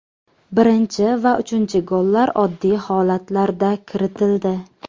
Birinchi va uchinchi gollar oddiy holatlarda kiritildi”.